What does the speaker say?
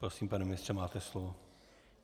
Prosím, pane ministře, máte slovo.